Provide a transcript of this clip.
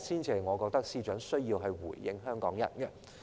這是我認為司長需要回應香港人的地方。